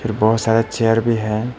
और बहुत सारा चेयर भी है।